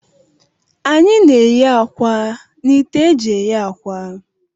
Anyị na-eghe akwa na ite eji eghe akwa.